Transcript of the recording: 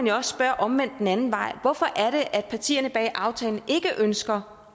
jo også spørge omvendt hvorfor er det at partierne bag aftalen ikke ønsker